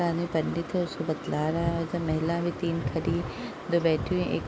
साथ मै पंडित है उसको बतला रहा है | वैसे महिला भी तीन खड़ी हैं दो बैठी हैं| ए --